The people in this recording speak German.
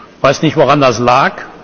Ich weiß nicht, woran das lag.